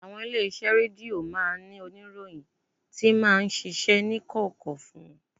Àwọn ilé-iṣẹ́ rédíò máa ń ní oníròyìn tí máa ń ṣiṣẹ́ ní kọ̀kọ̀ fún wọn